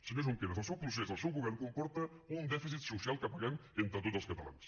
senyor junqueras el seu procés el seu govern comporta un dèficit social que paguem entre tots els catalans